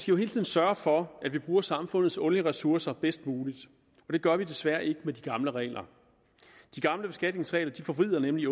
jo hele tiden sørge for at vi bruger samfundets olieressourcer bedst muligt og det gør vi desværre ikke med de gamle regler de gamle beskatningsregler forvrider nemlig